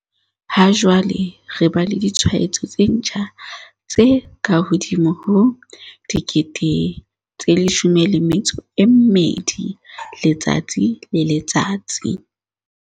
Ha jwale re ba le ditshwaetso tse ntjha tse kahodimo ho 12 000 letsatsi le letsatsi.